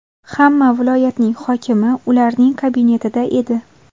Hamma viloyatning hokimi ularning kabinetida edi.